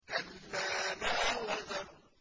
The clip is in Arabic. كَلَّا لَا وَزَرَ